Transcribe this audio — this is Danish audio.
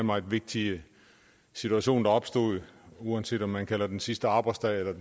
meget vigtige situation der opstod uanset om man kalder det den sidste arbejdsdag